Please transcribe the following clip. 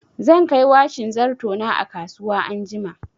Zan kai washin zarto na a kasuwa anjima.